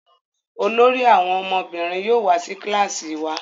olórí àwọn ọmọbìnrin yóò wá sí kilasi wá.